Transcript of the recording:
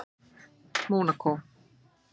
Mónakó